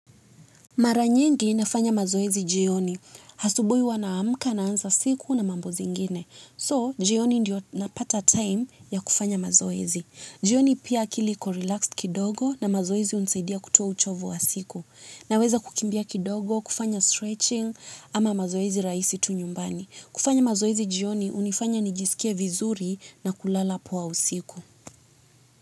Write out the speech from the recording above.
Mara nyingi nafanya mazoezi jioni. Asubuhi huwa naamka naanza siku na mambo zingine. So, jioni ndio napata time ya kufanya mazoezi. Jioni pia akili iko relaxed kidogo na mazoezi hunisaidia kutoa uchovu wa siku. Naweza kukimbia kidogo, kufanya stretching ama mazoezi rahisi tu nyumbani. Kufanya mazoezi jioni hunifanya nijisikie vizuri na kulala poa usiku.